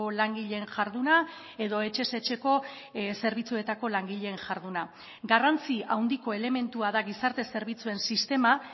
langileen jarduna edo etxez etxeko zerbitzuetako langileen jarduna garrantzi handiko elementua da gizarte zerbitzuen sistema